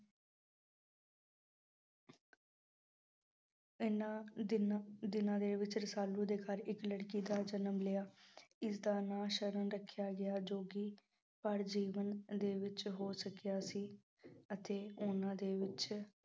ਇਹਨਾਂ ਦਿਨ ਦਿਨਾਂ ਦੇ ਵਿੱਚ ਰਸਾਲੂ ਦੇ ਘਰ ਇੱਕ ਲੜਕੀ ਦਾ ਜਨਮ ਲਿਆ ਇਸਦਾ ਨਾਂ ਸਰਨ ਰੱਖਿਆ ਗਿਆ ਜੋ ਕਿ ਭਰ ਜੀਵਨ ਦੇ ਵਿੱਚ ਹੋ ਸਕਿਆ ਸੀ ਅਤੇ ਉਹਨਾਂ ਦੇ ਵਿੱਚ